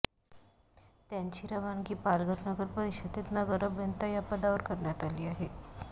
त्यांची रवानगी पालघर नगरपरिषदेत नगर अभियंता या पदावर करण्यात आली आहे